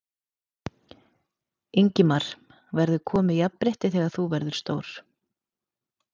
Ingimar: Verður komið jafnrétti þegar þú verður stór?